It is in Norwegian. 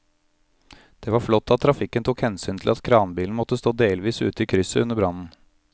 Det var flott at trafikken tok hensyn til at kranbilen måtte stå delvis ute i krysset under brannen.